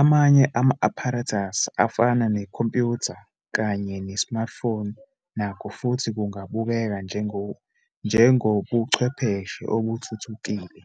Amanye ama-apparatus afana nekhompyutha kanye ne-smartphone nakho futhi kungabukeka njengobuchwepheshe obuthuthukile.